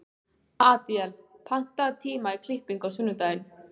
Adíel, pantaðu tíma í klippingu á sunnudaginn.